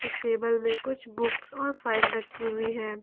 उस टेबल में कुछ बुक्स और फाइल रखी हुई है।